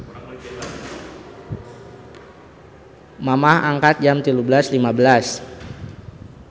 Mamah angkat Jam 13.15